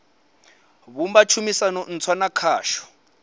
vhumba tshumisano ntswa na khasho